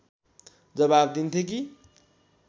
जवाब दिन्थे कि